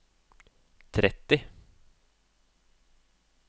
tretti